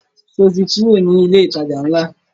Sọ ti kúrò ní ilé ìtajà ńlá?